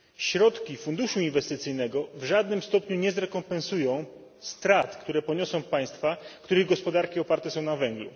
Środki funduszu inwestycyjnego w żadnym stopniu nie zrekompensują strat, które poniosą państwa, których gospodarki oparte są na węglu.